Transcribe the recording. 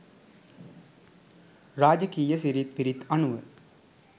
රාජකීය සිිරිත් විරිත් අනුව